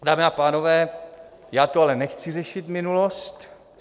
Dámy a pánové, já tu ale nechci řešit minulost .